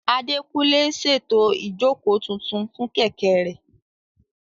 Adékúnlé ń ṣètò ìjókòó tuntun fún Kẹ̀kẹ́ rẹ̀